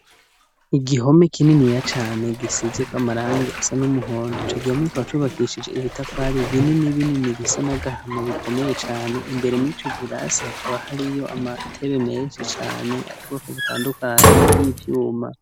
Igihome kininiya cane gisizeko amarangi asa n'umuhondo, ico gihome kikaba cubakishije ibitafari binini binini bisa n'agahama bikomeye cane, imbere mw'ico kirasi hakaba hari yo amatebe menshi cane, yubwoko butandukanyi y'ivyuma.